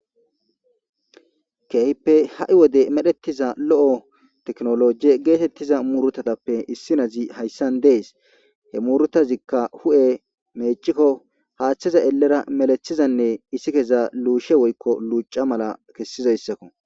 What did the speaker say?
keehppe ha7i wode medhettiza lo7o teknolojie geetettiza murutatappe issinazi hayssan dees he murutazikka hu7e meecikko haaththiza elera melethizanne issi keza luushe woykko luuca mala kessidayssakko